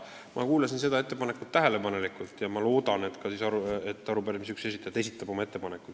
Ma kuulasin seda ettepanekut tähelepanelikult ja loodan, et keegi arupärimise esitajatest teeb oma ettepaneku.